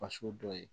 Faso dɔ ye